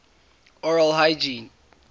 oral hygiene